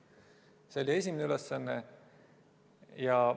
See oli esimene ülesanne.